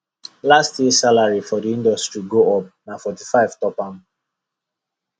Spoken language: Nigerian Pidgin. last year salary for the industry go up na 45 top am